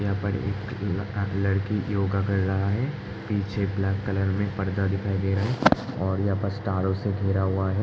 यहाँ पर एक लड़का-लड़की योगा कर रहा है पीछे ब्लैक कलर में पर्दा दिखाई दे रहा है। और यह तारो से घिरा हुआ है।